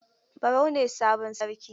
Barau ne sabon Sarki.